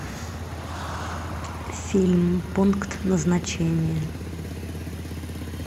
фильм пункт назначения